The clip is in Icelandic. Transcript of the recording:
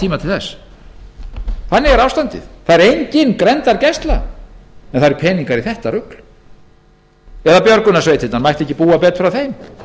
tíma til þess þannig er ástandið það er engin grenndargæsla en það eru peningar í þetta rugl eða björgunarsveitirnar mætti ekki búa betur að þeim